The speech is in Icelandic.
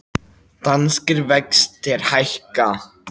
Danskir vextir hækka